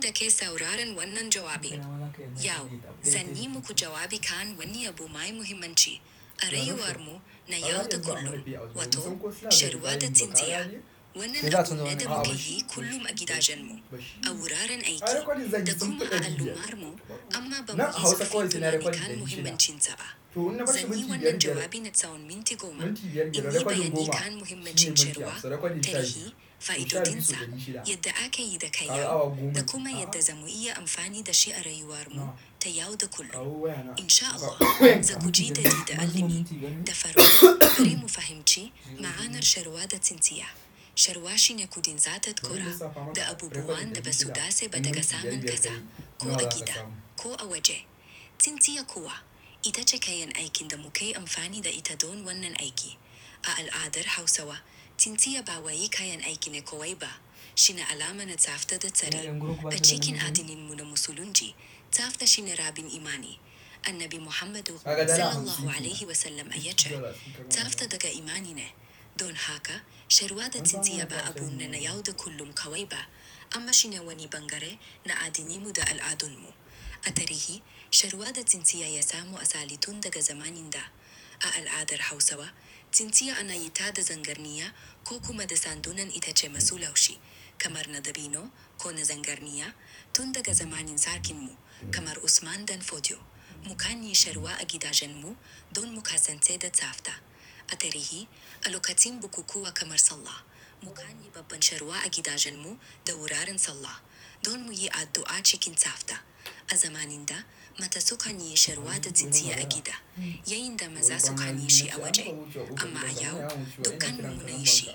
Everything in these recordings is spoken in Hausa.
Dake sauraron wannan jawabi. Yau, zan yi muku jawabi kan wani abu mai muhimmanci. A rayuwar mu na yau da kullum. Wato, sharwa da tsintsiya. Wannan naɗin na da mukeyi kullum a gidajen mu. A wuraren aiki, da kuma a al ummar mu. Amma bamuce faɗin da yake kan muhimmancinsa ba. Zan yi wannan jawabi na tsawon minti goma. Zanyi bayani kan muhimmancin sharwa, tarihi, fa'idodin sa, yadda ake yi da kai yau, da kuma yadda zamu yi amfani da shi a rayuwar mu ta yau da kullum. In sha Allah, za ku ji daɗi da allimi, da farin, da kuma fahimci, ma'anar sharwa da tsintsiya. Sharwa shine kuɗin za ta ƙura, da abubuwan da basu dace ba da kasaman kasa, ko a gida, ko a waje. Tsintsiya kuwa, ita ce kayan aikin da muke amfani da ita don wannan aiki. A al'adar Hausawa, tsintsiya ba wai kayan aikine kawai ba. Shine alama na tsafta da tsari. A cikin addinin mu na Musulunci, tsafta shine rabin imani. Annabi Muhammadu, Sallallahu Alaihi Wasallam ya ce, "Tsafta daga imanine." Don haka, sharwa da tsintsiya ba abu nr na yau da kullum kawai ba. Amma shine wani bangare na addininmu da al'adun mu. A tarihi, sharwa da tsintsiya ya samu asali tun daga zamanin da. A al'adar Hausawa, tsintsiya ana yi ta da zangarniya ko kuma da sandunan ita ce masu laushi. Kamar na dabino ko na zangarniya, tun daga zamanin sarkin mu, kamar Usman dan Fodio. Mukanyi sharwa a gidajen mu, don muka sance da tsafta. A tarihi, a lokacin bukukuwa kamar Sallah, mu kanyi babban sharwa a gidajen mu, da wuraren Sallah. Don mu yi addu'a cikin tsafta. A zamanin da, mata su kan yi sharwa da tsintsiya a gida. Yayinda maza su kanyi shi a waje. Amma a yau, dukkan mu muna yin shi.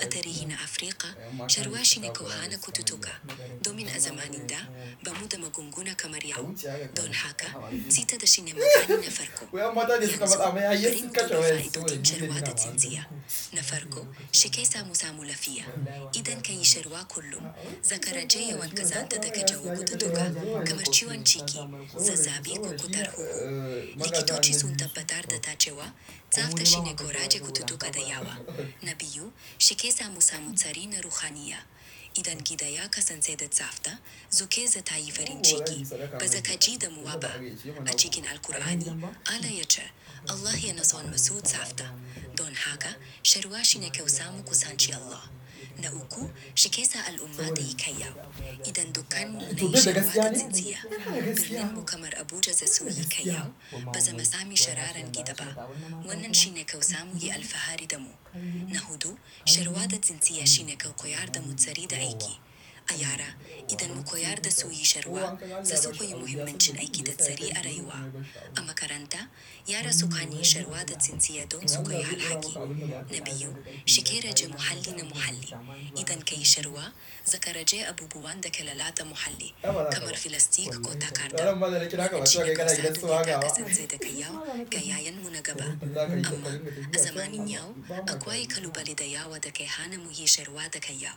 A tarihin Afirka, sharwa shine ko hana kututtuka. Domin a zamanin da, bamu da magunguna kamar yau. Don haka, zita da shine magani na farko. Yanzu, birnin mu kamar Abuja za su yi sharwa da tsintsiya. Na farko, shi ke samu samu lafiya. Idan ka yi sharwa kullum, za ka rage yawan ƙazanta daga jawukutuku, kamar ciwon ciki, zazzabi ko cutar huhu. Likitoci sun tabbatar da ta cewa, tsafta shine korar cututtuka da yawa. Na biyu, shi ke samu samu tsarin ruhaniya. Idan gida ya kasance da tsafta, zuƙa za ta yi farin ciki. Ba za ka ji damuwa ba. A cikin Alkur'ani, Allah ya ce, "Allah yana son masun tsafta." Don haka, sharwa shine kai sa ka samu kusan ci Allah. Na uku, shi ke al'umma da tayi yau. Idan dukkan mu muyi sharwa da tsintsiya, birnin mu kamar Abuja za su yi kyau. Ba za mu sami shararan gida ba. Wannan shine kau samu yi alfahari da mu. Na hudu, sharwa da tsintsiya shine kau koyar da motsari da aiki. A yara, idan mu koyar da su yi sharwa, za su koyi muhimmancin aiki da tsari a rayuwa. Amma karanta, yara su kanyi sharwa da tsintsiya don su koyi halaki. Na biyu, shi ke rage muhalli na muhalli. Idan ka yi sharwa, za ka rage abubuwan da ke lalata muhalli, kamar filastik ko takarda. Cikin kasandun yadda kasance daga yau, ga 'ya 'yan mu na gaba. Amma, a zamanin yau, akwai ƙalubale da yawa da ke hana mu yi shan ruwa daga yau.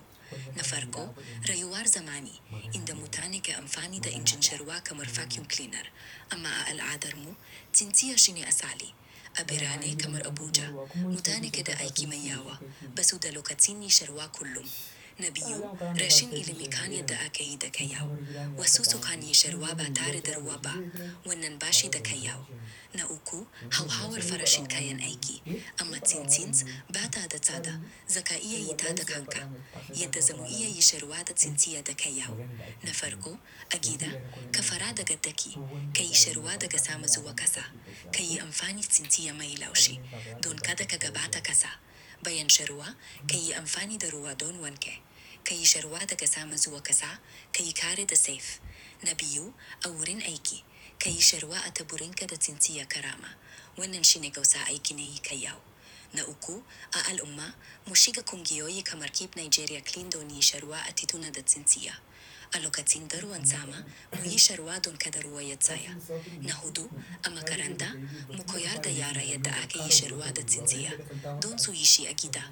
Na farko, rayuwar zamani, inda mutane ke amfani da injin shan ruwa kamar vacuum cleaner. Amma a al'adar mu, tsintsiya shine asali. A birane kamar Abuja, mutane ke da aiki mai yawa, ba su da lokacin yi shara kullum. Na biyu, rashin ilimin kanyan da ake yi da kai yau. Wasu su kanyi shan ruwa ba tare da ruwa ba. Wannan bashi da kai yau. Na uku, hauhawar farashin kayan aiki. Amma tsintsints, ba ta da tsada, za ka iya yi ta da kanka. Yadda zamu iya yi shara da tsintsiya daga yau. Na farko, a gida, ka fara daga ɗaki. Ka yi sharowa daga sama zuwa ƙasa. Ka yi amfani tsintsiya mai laushi. Don kada ka gaba ta ƙasa. Bayan sharowa, ka yi amfani da ruwa don wanke. Ka yi sharowa daga sama zuwa ƙasa, ka yi kare da sef. Na biyu, a wurin aiki, ka yi sharowa a taburinki da tsintsiya ƙarama. Wannan shine kau sa'aiki na yi kai yau. Na uku, a al'umma, mu shiga kungiyoyi kamar Keep Nigeria Clean don yi shara a tituna da tsintsiya. A lokacin da ruwan sama, mu yi sharuwa don kada ruwa ya tsaya. Na hudu, amma karanta, mu koyar da yara yadda ake yi sharwa da tsintsiya. Don su yi shi a gida.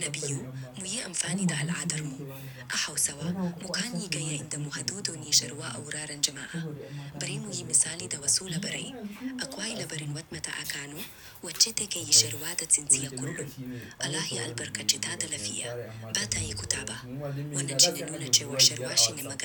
Na biyu, mu yi amfani da al'adar mu. A Hausawa, mu kanni ga yayi damu hadudun yi sharwa a wuraren jama'a. Bari mu yi misali da wasu labarai, akwai labarin wadda a Kano, wacce take yi sharwa da tsintsiya kullum. Allah ya albarkace ta da lafiya. Ba ta yi kutaba. Wannan shine nuna cewa sharwa shine magani.